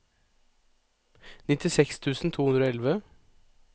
nittiseks tusen to hundre og elleve